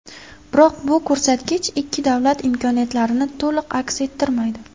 Biroq bu ko‘rsatkich ikki davlat imkoniyatlarini to‘liq aks ettirmaydi.